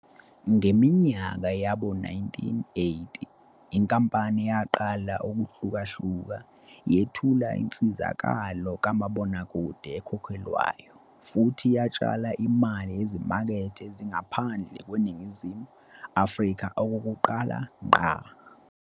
Ngeminyaka yawo-1980 inkampani yaqala ukuhlukahluka, yethula insizakalo kamabonakude ekhokhelwayo futhi yatshala imali ezimakethe ezingaphandle kweNingizimu Afrika okokuqala ngqa.